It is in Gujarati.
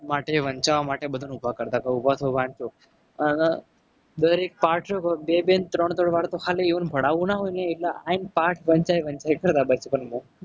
માટે વંચાવવા માટે બધાને ઉભા કરતા કે ઉભા થાવ વાંચો. અને દરેક પાઠ જે બે બે ને ત્રણ ત્રણ વાર તો ખાલી એમને ભણાવવું. ના હોય ને એટલે આવીને પાર્ટ વંચાય વંચાય કરે. બચપણમાં